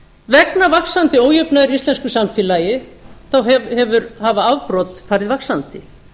vegna vaxandi ójafnaðar í íslensku samfélagi hafa afbrot farið vaxandi